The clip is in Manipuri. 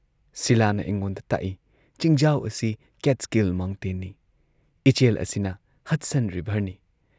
ꯁꯤꯂꯥꯅ ꯑꯩꯉꯣꯟꯗ ꯇꯥꯛꯏ ꯆꯤꯡꯖꯥꯎ ꯑꯁꯤ ꯀꯦꯠꯁ꯭ꯀꯤꯜ ꯃꯥꯎꯟꯇꯦꯟꯅꯤ, ꯏꯆꯦꯜ ꯑꯁꯤꯅ ꯍꯗꯁꯟ ꯔꯤꯚꯔꯅꯤ